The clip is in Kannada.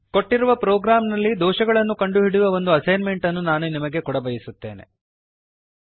ಕೊಟ್ಟಿರುವ ಪ್ರೋಗ್ರಾಂನಲ್ಲಿ ದೋಷಗಳನ್ನು ಕಂಡುಹಿಡಿಯುವ ಒಂದು ಅಸೈನ್ ಮೆಂಟ್ ಅನ್ನು ನಾನು ನಿಮಗೆ ಕೊಡಬಯಸುತ್ತೇನೆ